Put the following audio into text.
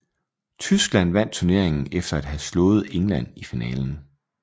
Tyskland vandt turneringen efter at have slået England i finalen